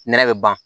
Nɛnɛ bɛ ban